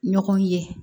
Ɲɔgɔn ye